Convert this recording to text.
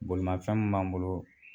Bolimafɛn min b'an bolo